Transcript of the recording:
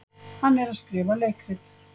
Hann er að skrifa leikrit.